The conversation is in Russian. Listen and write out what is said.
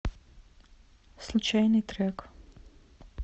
случайный трек